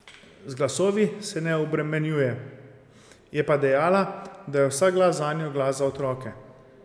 Z glasovi se ne obremenjuje, je pa dejala, da je vsak glas zanjo glas za otroke.